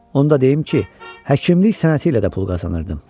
Onu da deyim ki, həkimlik sənəti ilə də pul qazanırdım.